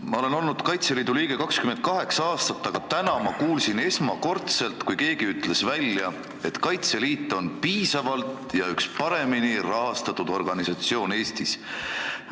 Ma olen olnud Kaitseliidu liige 28 aastat, aga täna ma kuulsin esimest korda, kui keegi ütles välja, et Kaitseliit on piisavalt ja üks paremini rahastatud organisatsioone Eestis.